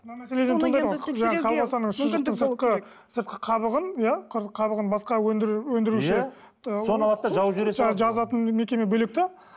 сыртқы қабығын иә қабығын басқа өндіруші соны алады да жазатын мекеме бөлек те